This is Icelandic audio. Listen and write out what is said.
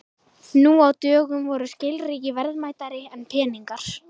Nú á dögum voru skilríki verðmætari en peningar.